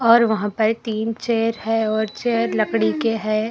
पर वहां पर तीन चेयर हैं और चेयर लकड़ी के हैं।